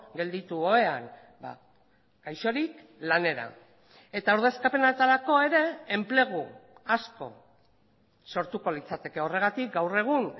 gelditu ohean gaixorik lanera eta ordezkapenetarako ere enplegu asko sortuko litzateke horregatik gaur egun